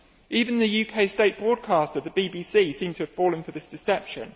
Even the UK state broadcaster, the BBC, seems to have fallen for this deception.